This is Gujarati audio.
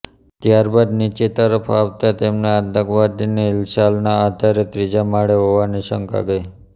ત્યારબાદ નીચે તરફ આવતાં તેમને આતંકવાદીની હિલચાલના આધારે ત્રીજા માળે હોવાની શંકા ગઈ